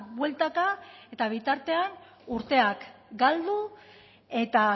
bueltaka eta bitartean urteak galdu eta